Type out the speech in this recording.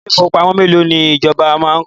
Ilé ìfowópamọ́ mélòó ni ìjọba máa kọ́?